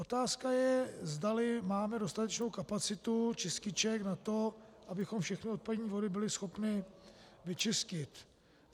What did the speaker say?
Otázka je, zdali máme dostatečnou kapacitu čističek na to, abychom všechny odpadní vody byli schopni vyčistit.